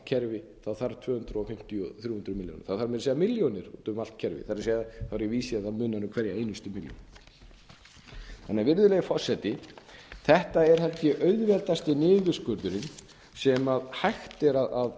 kerfið þarf tvö hundruð fimmtíu til þrjú hundruð fimmtíu milljónir það þarf meira að segja milljónir úti um allt kerfið þá er ég að vísa í að það munar um hverja einustu milljón virðulegi forseti þetta er held ég auðveldasti niðurskurðurinn sem hægt er að